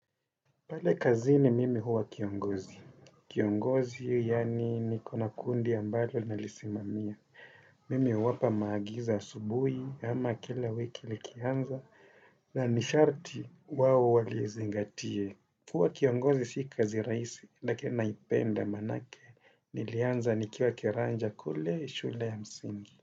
Pale kazini mimi huwa kiongozi. Kiongozi, yaani nikona kuna kundi ambalo nalisimamia. Mimi huwapa maagizo asubuhi ama kila wiki likianza na nisharti wao walizingatie. Kuwa kiongozi si kazi rahisi lakini naipenda manake nilianza nikiwa kiranja kule shule ya msingi.